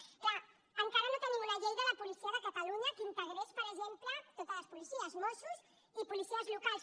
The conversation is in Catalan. és clar encara no tenim una llei de la policia de catalunya que integrés per exemple totes les policies mossos i policies locals